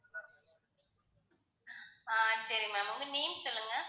ஆஹ் சரி ma'am உங்க name சொல்லுங்க